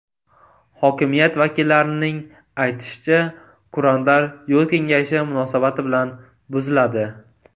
Hokimiyat vakillarining aytishicha, kurantlar yo‘l kengayishi munosabati bilan buziladi.